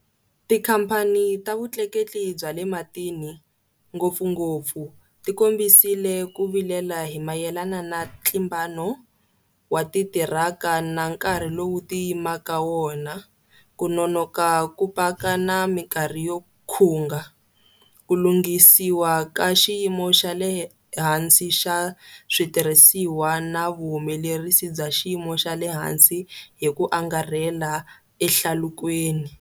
Tikhamphani ta vutleketli bya le matini, ngopfungopfu, tikombisile ku vilela hi mayelana na ntlimbano wa titiraka na nkarhi lowu ti yimaka wona, ku nonoka ku paka na mikarhi yo khunga, ku lunghisiwa ka xiyimo xa le hansi ka switirhisiwa na vuhumelerisi bya xiyimo xa le hansi hi ku angarhela ehlalukweni.